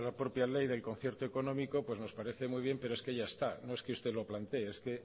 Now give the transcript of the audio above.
propia ley del concierto económico pues nos parece muy bien pero es que ya está no es que usted lo plantee es que